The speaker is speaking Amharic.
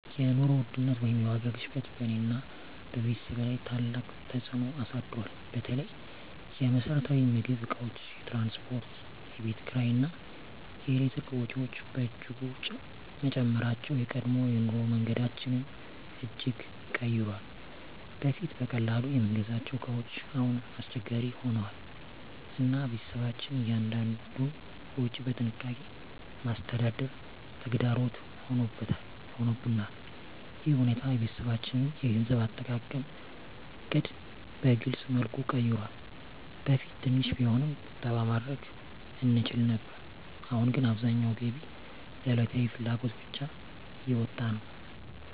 የኑሮ ውድነት ወይም የዋጋ ግሽበት በእኔና በቤተሰቤ ላይ ታላቅ ተፅዕኖ አሳድሯል። በተለይ የመሰረታዊ ምግብ እቃዎች፣ የትራንስፖርት፣ የቤት ኪራይ እና የኤሌክትሪክ ወጪዎች በእጅጉ መጨመራቸው የቀድሞ የኑሮ መንገዳችንን እጅግ ቀይሯል። በፊት በቀላሉ የምንገዛቸው እቃዎች አሁን አስቸጋሪ ሆነዋል፣ እና ቤተሰባችን እያንዳንዱን ወጪ በጥንቃቄ ማስተዳደር ተግዳሮት ሆኖብናል። ይህ ሁኔታ የቤተሰባችንን የገንዘብ አጠቃቀም ዕቅድ በግልፅ መልኩ ቀይሯል። በፊት ትንሽ ቢሆንም ቁጠባ ማድረግ እንችል ነበር፣ አሁን ግን አብዛኛው ገቢ ለዕለታዊ ፍላጎት ብቻ እየወጣ ነው።